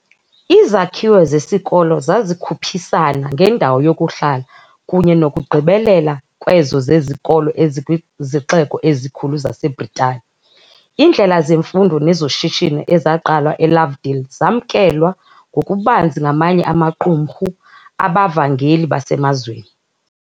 Izakhiwo zesikolo zazikhuphisana ngendawo yokuhlala kunye nokugqibelela kwezo zezikolo ezikwizixeko ezikhulu zaseBritani. Iindlela zemfundo nezoshishino ezaqalwa eLovedale zamkelwa ngokubanzi ngamanye amaqumrhu abavangeli basemazweni.